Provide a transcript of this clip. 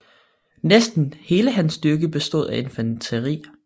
Næsten hele hans styrke bestod af infanteri